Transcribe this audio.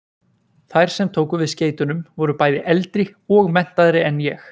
Þær sem tóku við skeytunum voru bæði eldri og menntaðri en ég.